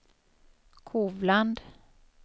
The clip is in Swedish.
Kovland